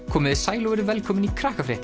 komiði sæl og verið velkomin í